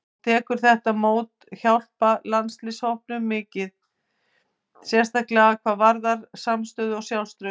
Hún telur þetta mót hjálpa landsliðshópnum mikið, sérstaklega hvað varðar samstöðu og sjálfstraust.